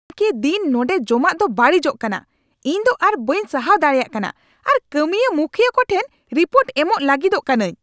ᱠᱮ ᱫᱤᱱ ᱱᱚᱸᱰᱮ ᱡᱚᱢᱟᱜ ᱫᱚ ᱵᱟᱹᱲᱤᱡᱚᱜ ᱠᱟᱱᱟ ᱾ ᱤᱧ ᱫᱚ ᱟᱨ ᱵᱟᱹᱧ ᱥᱟᱦᱟᱣ ᱫᱟᱲᱮᱭᱟᱜ ᱠᱟᱱᱟ ᱟᱨ ᱠᱟᱹᱢᱤᱭᱟᱹ ᱢᱩᱠᱷᱤᱭᱟᱹ ᱠᱚᱴᱷᱮᱱ ᱨᱤᱯᱳᱨᱴ ᱮᱢᱚᱜ ᱞᱟᱹᱜᱤᱫᱚᱜ ᱠᱟᱹᱱᱟᱹᱧ ᱾